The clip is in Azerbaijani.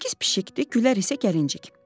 Nərgiz pişikdi, Gülər isə gəlincik.